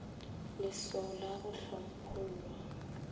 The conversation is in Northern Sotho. le lswao la go hlomphollwa